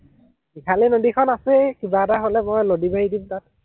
ইফালে নদীখন আছেই, কিবা এটা হলে মই লদি মাৰী দিম তাত